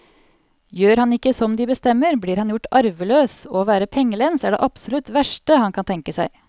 Gjør han ikke som de bestemmer, blir han gjort arveløs, og å være pengelens er det absolutt verste han kan tenke seg.